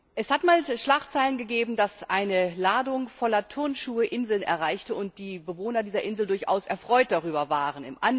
Es hat einmal Schlagzeilen gegeben, dass eine Ladung voller Turnschuhe Inseln erreichte und die Bewohner dieser Inseln durchaus erfreut darüber waren.